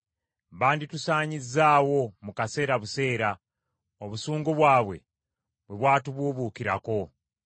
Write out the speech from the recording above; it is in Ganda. banditusaanyizzaawo mu kaseera buseera, obusungu bwabwe bwe bwatubuubuukirako.